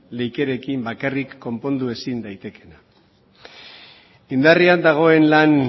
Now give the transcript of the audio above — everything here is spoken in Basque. leikerekin bakarrik konpondu ezin daitekeena indarrean dagoen lan